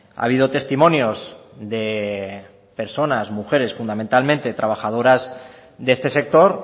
ha habido testimonios de personas mujeres fundamentalmente trabajadoras de este sector